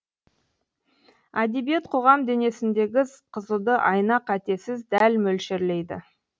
әдебиет қоғам денесіндегі қызуды айна қатесіз дәл мөлшерлейді